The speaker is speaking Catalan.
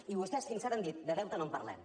i vostès fins ara han dit de deute no en parlem